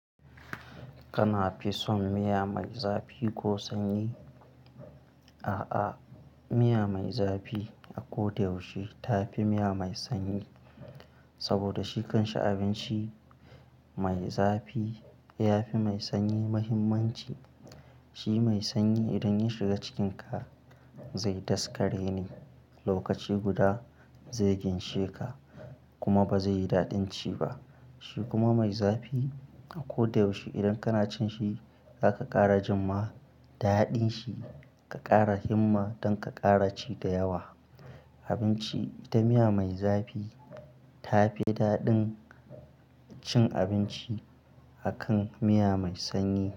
Kana fi son miya mai zafi ko sanyi? A'a, miya mai zafi a ko da yaushe tafi miya mai sanyi. Saboda shikan sha abinci mai zafi yafi mai sanyi muhimmanci. Shi mai sanyi idan ya shiga cikinka, zai daskare ne. Lokaci guda zai ginshe ka kuma bazai yi daɗin ci ba. Shi kuma mai zafi a ko da yaushe idan kana cin shi, zaka ƙara jimma daɗin shi ka ƙara himma don ka ƙara ci da yawa. Abinci da miya mai zafi ta fi daɗin cin abinci akan miya mai sanyi.